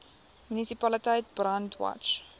munisipaliteit brandwatch